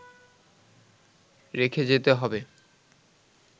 রেখে যেতে হবে